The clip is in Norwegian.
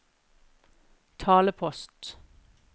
talepost